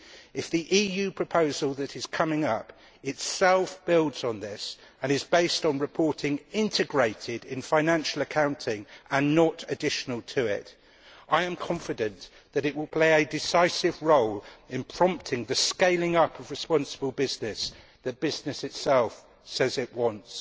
If the EU proposal that is coming up itself builds on this and is based on reporting integrated into financial accounting and not additional to it, I am confident that it will play a decisive role in prompting the scaling up of responsible business that business itself says it wants.